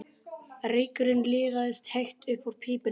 Reykurinn liðaðist hægt upp úr pípunni.